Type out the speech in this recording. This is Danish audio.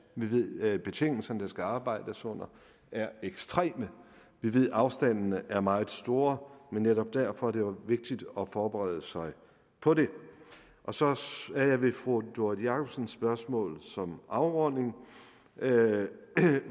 vi ved at betingelserne der skal arbejdes under er ekstreme vi ved at afstandene er meget store men netop derfor er det jo vigtigt at forberede sig på det og så er jeg ved fru doris jakobsens spørgsmål som afrunding